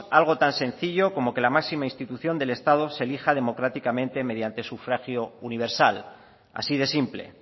algo tan sencillo como que la máxima institución del estado se elija democráticamente mediante sufragio universal así de simple